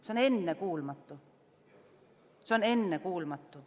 See on ennekuulmatu!